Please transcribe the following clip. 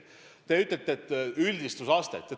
Te räägite üldistusvõimest.